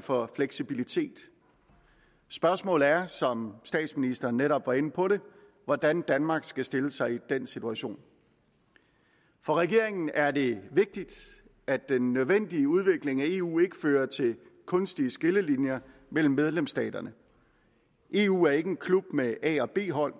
for fleksibilitet spørgsmålet er som statsministeren netop var inde på hvordan danmark skal stille sig i den situation for regeringen er det vigtigt at den nødvendige udvikling af eu ikke fører til kunstige skillelinjer mellem medlemsstaterne eu er ikke en klub med a og b hold